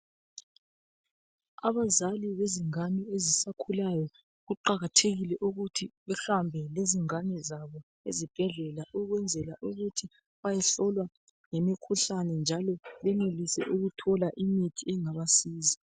Abazali lezingane ezisakhulayo kuqakathekile ukuthi behambe lezingane zabo ezibhedlela ukwenzela ukuthi bayehlolwa ngemikhuhlane njalo benelise ukuthola imithi engabasiza.